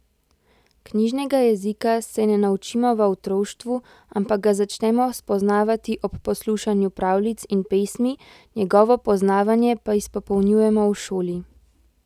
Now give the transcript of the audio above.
Knjižnega jezika se ne naučimo v otroštvu, ampak ga začnemo spoznavati ob poslušanju pravljic in pesmi, njegovo poznavanje pa izpopolnjujemo v šoli.